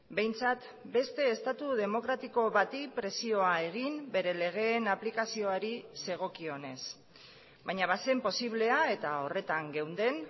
behintzat beste estatu demokratiko bati presioa egin bere legeen aplikazioari zegokionez baina bazen posiblea eta horretan geunden